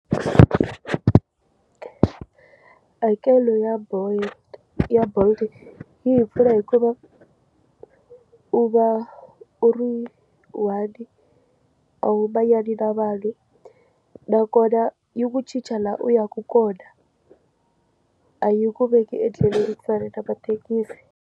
Hakelo ya bolo ya bolt yi hi pfuna hikuva u va u ri one a wu manyani na vanhu nakona yi ku chicha laha u yaka kona a yi ku veki endleleni ku fana na mathekisi.